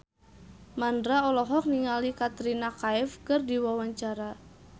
Mandra olohok ningali Katrina Kaif keur diwawancara